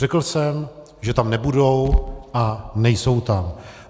Řekl jsem, že tam nebudou, a nejsou tam.